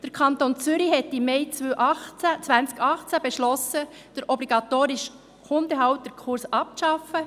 Der Kanton Zürich hat im Mai 2018 beschlossen, den obligatorischen Hundehalterkurs abzuschaffen.